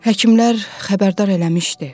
həkimlər xəbərdar eləmişdi.